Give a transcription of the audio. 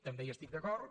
també hi estic d’acord